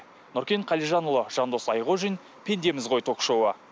нұркен қалижанұлы жандос айқожин пендеміз ғой ток шоуы